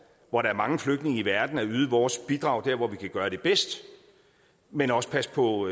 hvor der er mange flygtninge i verden at yde vores bidrag der hvor vi kan gøre det bedst men også passer på